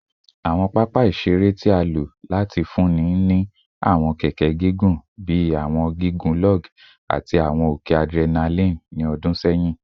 Awọn papa iṣere iṣere ti a lo lati funni ni awọn keke gigun bi awọn gigun log ati awọn oke adrenaline ni ọdun sẹyin